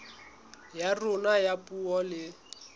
ya rona ya puo le